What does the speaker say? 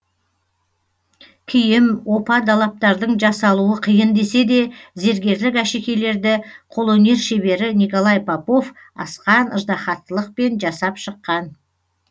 киім опа далаптардың жасалуы қиын десе де зергерлік әшекейлерді қолөнер шебері николай попов асқан ыждаһаттылықпен жасап шыққан